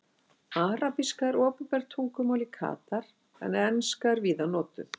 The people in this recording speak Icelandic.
Arabíska er opinbert tungumál í Katar en enska er víða notuð.